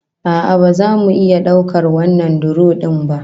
A'a, ba za mu iya daukar wannan duro din ba